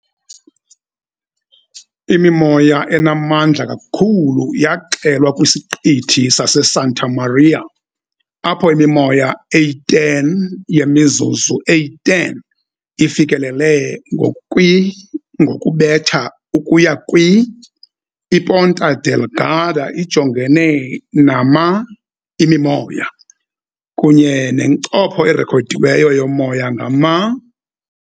Imimoya enamandla kakhulu yaxelwa kwiSiqithi saseSanta Maria, apho imimoya eyi-10 yemizuzu eyi-10 ifikelele kwi ngokubetha ukuya kwi . IPonta Delgada ijongene nama imimoya, kunye nencopho erekhodiweyo yomoya ngama .